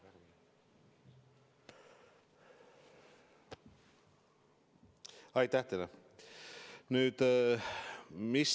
Aitäh teile!